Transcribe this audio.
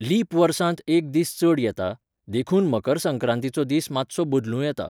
Leap वर्सांत एक दीस चड येता, देखून मकर संक्रांतीचो दीस मात्सो बदलूं येता.